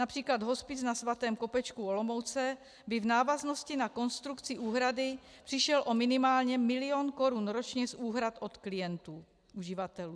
Například hospic na Svatém Kopečku u Olomouce by v návaznosti na konstrukci úhrady přišel o minimálně milion korun ročně z úhrad od klientů, uživatelů.